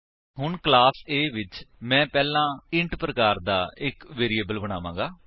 ਹੁਣ class A ਵਿੱਚ ਮੈਂ ਪਹਿਲਾਂ ਇੰਟ ਪ੍ਰਕਾਰ ਦਾ ਇੱਕ ਵੇਰਿਏਬਲ ਬਣਾਵਾਂਗਾ